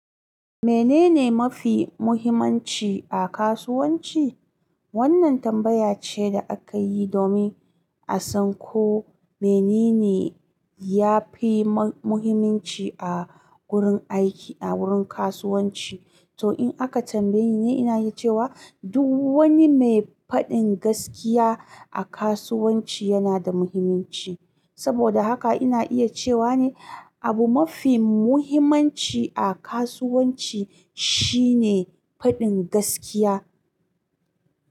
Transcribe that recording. Menene mafi muhimmanci a kasuwanci? Wannan tambaya ce da aka yi domin a san ko menene ya fi ma-muhimanci a wurin aiki, a wurin kasuwanci. To in aka tambaye ni, ina iya cewa duk wani mai faɗin gaskiya a kasuwanci yana da muhimmanci. Saboda haka ina iya cewa ne abu mafi muhimmanci a kasuwanci shine faɗin gaskiya.